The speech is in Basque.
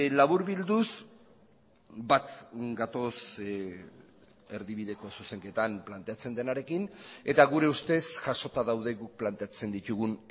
laburbilduz bat gatoz erdibideko zuzenketan planteatzen denarekin eta gure ustez jasota daude guk planteatzen ditugun